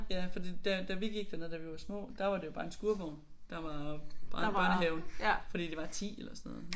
Ja fordi da da vi gik dernede da vi var små der var det jo bare en skurvogn der var børnehaven fordi der var 10 eller sådan noget